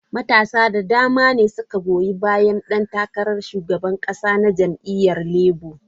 Matasa da dama ne suka goyi bayan dan takarar shugaban kasa na jam'iyyar Labour.